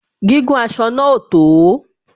Gígùn aṣọ náà ò tó